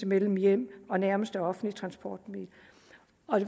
mellem hjem og nærmeste offentlige transportmiddel